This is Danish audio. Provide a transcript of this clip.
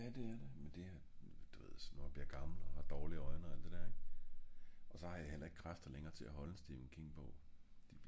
ja det er det men det er som gammel med dårlige øjne alt det der ing og så har jeg hellere ikke kræfter længere til at holde en stephen king bog